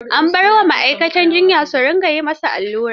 An bar wa ma'aikatan jiyya su dinga yi ma sa allura.